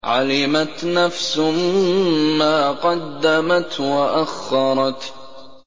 عَلِمَتْ نَفْسٌ مَّا قَدَّمَتْ وَأَخَّرَتْ